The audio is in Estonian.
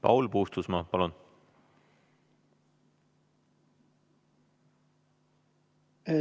Paul Puustusmaa, palun!